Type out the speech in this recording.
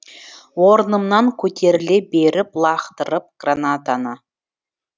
орнымнан көтеріле беріп лақтырдым гранатаны